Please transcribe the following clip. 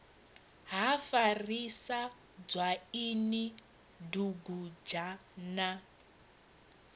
ha farisa dzwaini dugudzha na